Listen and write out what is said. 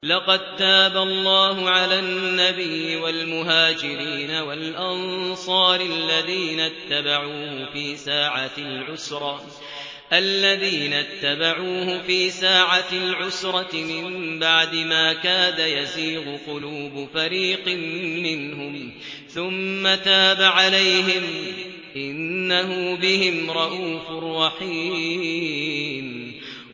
لَّقَد تَّابَ اللَّهُ عَلَى النَّبِيِّ وَالْمُهَاجِرِينَ وَالْأَنصَارِ الَّذِينَ اتَّبَعُوهُ فِي سَاعَةِ الْعُسْرَةِ مِن بَعْدِ مَا كَادَ يَزِيغُ قُلُوبُ فَرِيقٍ مِّنْهُمْ ثُمَّ تَابَ عَلَيْهِمْ ۚ إِنَّهُ بِهِمْ رَءُوفٌ رَّحِيمٌ